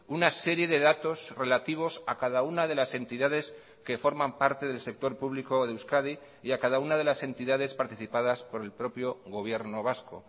una serie de datos relativos a cada una de las entidades que forman parte del sector público de euskadi y a cada una de las entidades participadas por el propio gobierno vasco